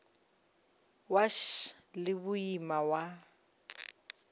wa š le boima wa